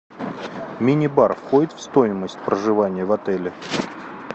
мини бар входит в стоимость проживания в отеле